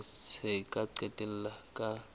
sena se ka qetella ka